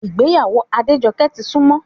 Ìgbéyàwó Adéjọkẹ́ ti súnmọ́